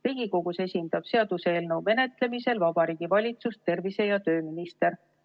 Seaduseelnõu menetlemisel Riigikogus esindab Vabariigi Valitsust tervise‑ ja tööminister.